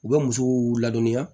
U bɛ musow ladɔnniya